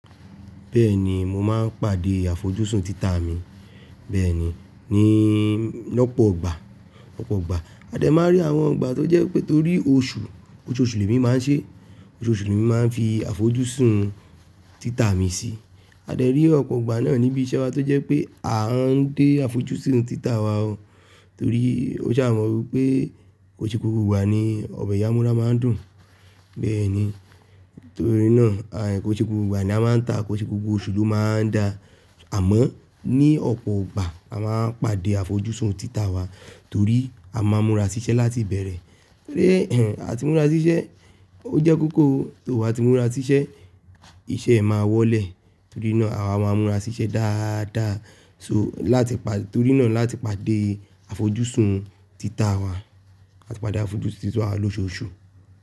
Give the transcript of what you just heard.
Bẹ́ẹ̀ni, mo máa ń pàdé àfojúsùn títà mi. Bẹ́ẹ̀ni, ní lọ́pọ̀ ọgbà, ọ̀pọ̀ igbà. A dẹ̀ máa n rí àwọn ìgbà tó jẹ́ pé torí oṣù, oṣooṣù lèmi máa ń ṣe, oṣooṣù lèmi máa ń fi àfojúsùn títà mi sí. A dẹ̀ rí ọ̀pọ̀ ọgbà náà níbi iṣẹ́ wa tó jẹ́ pé a ń dé àfojúsùn títà wa o. Torí ó ṣaà mọ́ wípé ko i ṣe gbogbo ìgbà ni ọbẹ̀ ìya amura máa ń dùn. Bẹ́ẹ̀ni, torí náà ko i ṣe gbogbo ìgbà ni a máa ń tà, ko i ṣe gbogbo oṣù ló máa ń da. Àmọ́ ní ọ̀pọ̀ ìgbà a máa ń pàdé àfojúsùn títà wa torí a máa ń mura sí iṣẹ́ láti bẹ̀rẹ̀. Torí a ti mura sí iṣẹ́, ó jẹ́ kókó, to ba ti mura sí iṣẹ́, iṣẹ́ e máa wọlé. Torí náà àwa máa ń mura sí iṣẹ́ dáadáa. So láti pa-- torí náà láti pàdé àfojúsùn títà wa, làti pàdé àfojúsùn títà wa loṣooṣù.